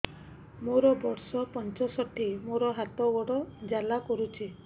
ମୋର ବର୍ଷ ପଞ୍ଚଷଠି ମୋର ହାତ ଗୋଡ଼ ଜାଲା କରୁଛି